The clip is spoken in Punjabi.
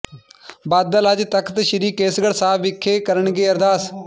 ਬਾਦਲ ਅੱਜ ਤਖ਼ਤ ਸ੍ਰੀ ਕੇਸਗੜ੍ਹ ਸਾਹਿਬ ਵਿਖੇ ਕਰਨਗੇ ਅਰਦਾਸ